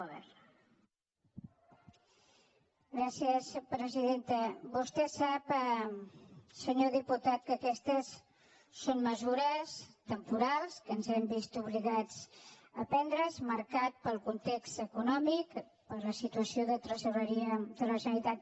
vostè sap senyor diputat que aquestes són mesures temporals que ens hem vist obligats a prendre marcades pel context econòmic per la situació de tresoreria de la generalitat